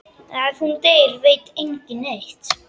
Ef hún deyr veit enginn neitt.